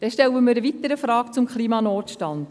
Wir stellen eine weitere Frage zum Klimanotstand.